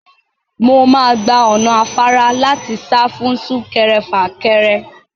Mo máa gba ọ̀nà afárá láti sá fún sún-kẹrẹ-fà-kẹrẹ.